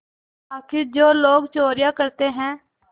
आखिर जो लोग चोरियॉँ करते हैं